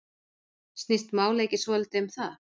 Snýst málið ekki svolítið um það?